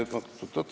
Oot-oot-oot.